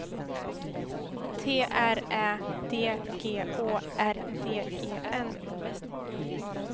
T R Ä D G Å R D E N